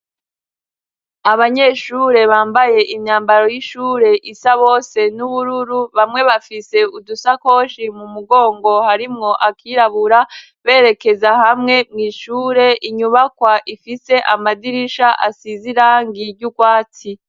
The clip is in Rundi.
Abanyeshure bambaye imyambaro y'ishure isa bose n'ubururu, bamwe bafise udusakoshi mu mugongo harimwo akirabura, berekeza hamwe mw' ishure, inyubakwa ifise amadirisha asize irangi ry'urwatsi.